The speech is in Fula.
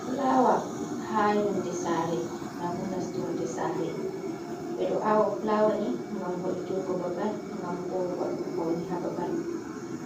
Fulawa ha yonde sare mabo nastorde sare bedo awa fulawa ni gam vo’itungo babal gam bo wadugo faune ha babal